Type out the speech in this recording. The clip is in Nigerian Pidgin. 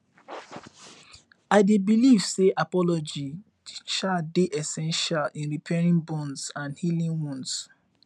i dey believe say apology um dey essential in repairing bonds and healing wounds